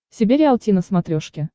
себе риалти на смотрешке